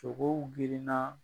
Sogow girinna